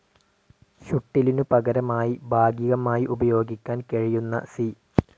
ഷുട്ടിലിനു പകരമായി ഭാഗികമായി ഉപയോഗിക്കാൻ കഴിയുന്ന സി.